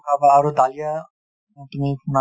বা আৰু দালিয়া তুমি,